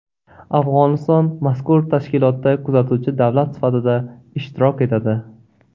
Afg‘oniston mazkur tashkilotda kuzatuvchi davlat sifatida ishtirok etadi.